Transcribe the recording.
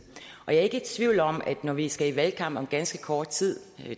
og jeg er ikke i tvivl om at når vi skal i valgkamp om ganske kort tid